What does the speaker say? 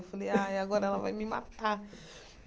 Eu falei, ai agora ela vai me matar.